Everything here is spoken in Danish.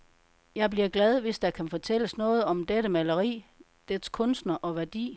Jeg bliver glad, hvis der kan fortælles noget om dette maleri, dets kunstner og værdi.